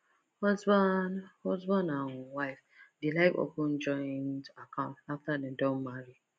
husband husband and wife dey like open joint account after dem don marry